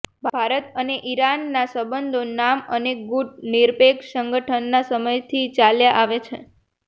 ભારત અને ઈરાનના સંબંધો નામ અને ગૂટ નિરપેક્ષ સંગઠનના સમયથી ચાલ્યા આવે છે